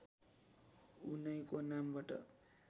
उनैको नामबाट